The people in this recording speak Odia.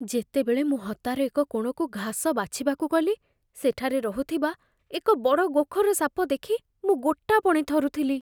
ଯେତେବେଳେ ମୁଁ ହତାର ଏକ କୋଣକୁ ଘାସ ବାଛିବାକୁ ଗଲି, ସେଠାରେ ରହୁଥିବା ଏକ ବଡ଼ ଗୋଖର ସାପ ଦେଖି ମୁଁ ଗୋଟାପଣେ ଥରୁଥିଲି।